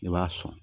I b'a sɔn